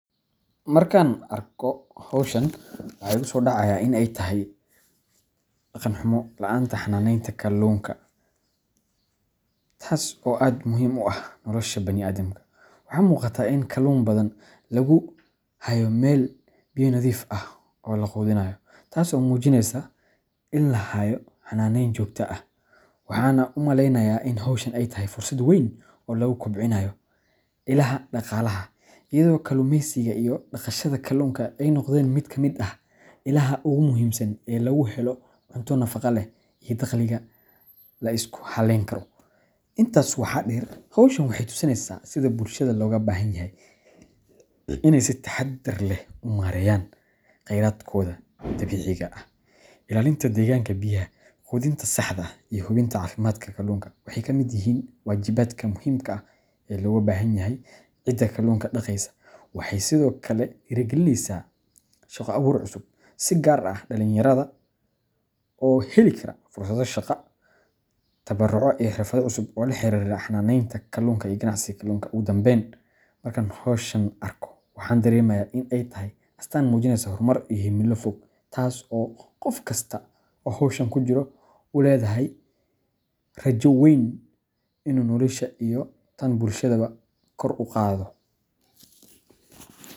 Markaan arko hawshan, waxa igu soo dhacaya in ay tahay dhaqan-xumo la'aanta xanaaneynta kalluunka, taas oo aad muhiim ugu ah nolosha bani’aadamka. Waxaa muuqata in kalluun badan lagu hayo meel biyo nadiif ah oo la quudinayo, taas oo muujinaysa in la hayo xanaaneyn joogto ah. Waxaan u malaynayaa in hawshan ay tahay fursad weyn oo lagu kobcinayo ilaha dhaqaalaha, iyadoo kalluumeysiga iyo dhaqashada kalluunka ay noqdeen mid ka mid ah ilaha ugu muhiimsan ee laga helo cunto nafaqo leh iyo dakhliga la isku halayn karo. Intaa waxaa dheer, hawshan waxay tusinaysaa sida bulshada looga baahan yahay inay si taxadar leh u maareeyaan khayraadkooda dabiiciga ah. Ilaalinta deegaanka biyaha, quudinta saxda ah, iyo hubinta caafimaadka kalluunka waxay ka mid yihiin waajibaadka muhiimka ah ee looga baahan yahay cidda kalluunka dhaqaysa. Waxay sidoo kale dhiirrigelinaysaa shaqo abuur cusub, si gaar ah dhalinyarada oo heli kara fursado shaqo, tababarro iyo xirfado cusub oo la xiriira xanaaneynta kalluunka iyo ganacsiga kalluunka. Ugu dambeyn, markaan hawshan arko, waxaan dareemayaa in ay tahay astaan muujinaysa horumar iyo himilo fog, taas oo qof kasta oo hawshan ku jira uu leeyahay ini rajo weyn oo ah in uu noloshiisa iyo tan bulshadiisaba kor u qaado.